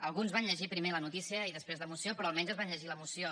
alguns van llegir primer la notícia i després la moció però almenys van llegir la moció